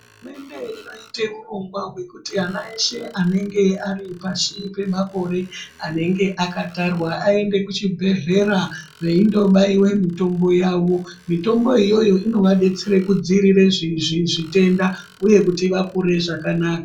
Hurumende inoite urongwa hwekuti ana eshe anenge ari pashi pemakore anenge akatarwa aende kuchibhedhlera koobairwa mitombo yawo. Mitombo iyoyo inovadetsere kudzivirira zvitenda uye kuti vakure zvakanaka.